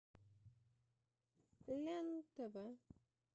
лен тв